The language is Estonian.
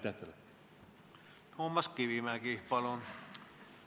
Toomas Kivimägi, palun!